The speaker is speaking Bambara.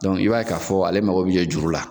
i b'a ye ka fɔ ale mago b'i jɔ juru la.